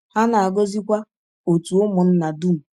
Ha na-agọzikwa òtù ụmụnna dum.